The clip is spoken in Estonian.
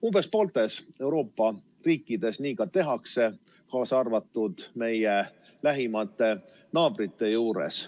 Umbes pooltes Euroopa riikides nii ka tehakse, kaasa arvatud meie lähimate naabrite juures.